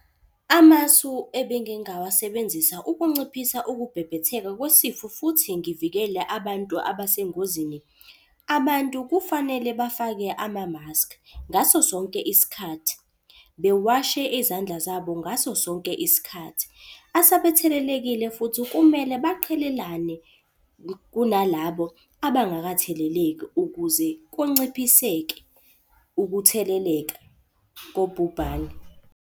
Amasu ebengingawasebenzisa ukunciphisa ukubhebhetheka kwesifo futhi ngivikele abantu abasengozini. Abantu kufanele bafake ama-mask ngaso sonke isikhathi, bewashe izandla zabo ngaso sonke isikhathi. Asebethelelekile futhi kumele baqhelelane kunalabo abangakatheleleki ukuze kunciphiseke ukutheleleka kobhubhane.